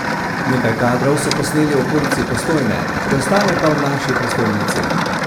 Nekaj kadrov so posneli v okolici Postojne, preostale pa v naši prestolnici.